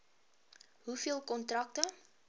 hoeveel kontrakte